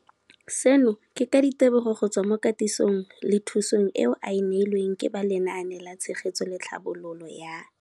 Seno ke ka ditebogo go tswa mo katisong le thu song eo a e neilweng ke ba Lenaane la Tshegetso le Tlhabololo ya